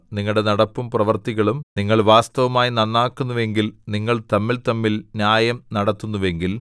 നിങ്ങളുടെ നടപ്പും പ്രവൃത്തികളും നിങ്ങൾ വാസ്തവമായി നന്നാക്കുന്നുവെങ്കിൽ നിങ്ങൾ തമ്മിൽതമ്മിൽ ന്യായം നടത്തുന്നുവെങ്കിൽ